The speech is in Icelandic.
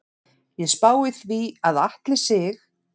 Ég spái því að Atli Sig.